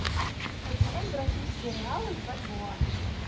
обменять бразильские реалы в бальбоа